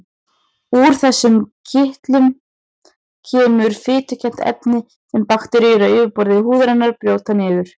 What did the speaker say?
Úr þessum kirtlum kemur fitukennt efni sem bakteríur á yfirborði húðarinnar brjóta niður.